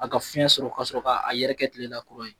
A ka fiɲɛ sɔrɔ ka sɔrɔ k'a yɛrɛ tilela kura ye